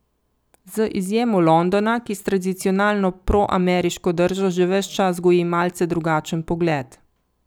Z izjemo Londona, ki s tradicionalno proameriško držo že ves čas goji malce drugačen pogled.